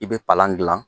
I bɛ palan gilan